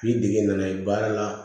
K'i dege n'a ye baara la